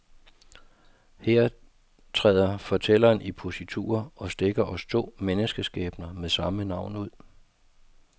Her træder fortælleren i positur og stikker os to menneskeskæbner med samme navn ud.